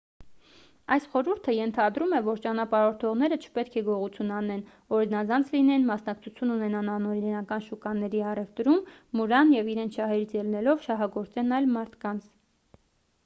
այս խորհուրդը ենթադրում է որ ճանապարհորդողները չպետք է գողություն անեն օրինազանց լինեն մասնակցություն ունենան անօրինական շուկաների առևտրում մուրան և իրենց շահերից ելնելով շահագործեն այլ մարդկանց